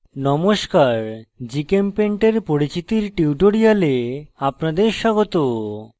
নমস্কার gchempaint এর পরিচিতির tutorial আপনাদের স্বাগত